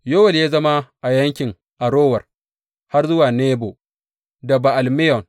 Yowel ya yi zama a yankin Arower har zuwa Nebo da Ba’al Meyon.